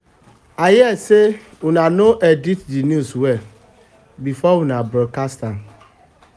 i hear say una no edit the news well before una broadcast am